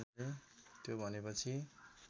त्यो भने पछि